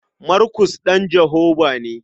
Markus ɗan Jehovah ne.